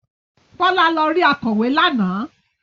Bọ́lá lọ rí akọ̀wé lánàá.